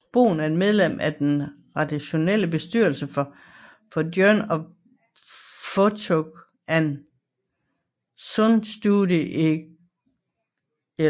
Bohn er medlem af den redaktionelle bestyrelse for Journal of Phonetics og Poznań Studies in Contemporary Linguistics